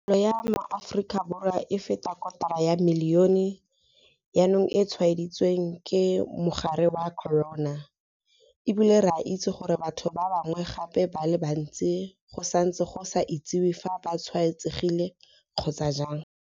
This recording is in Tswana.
Palo ya maAforika Borwa a feta kotara ya milione jaanong e tshwaeditswe ke mogare wa corona, e bile re a itse gore batho ba bangwe gape ba le bantsi go santse go sa itsiwe fa ba tshwaetsegile kgotsa jang.